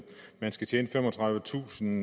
man skal tjene femogtredivetusind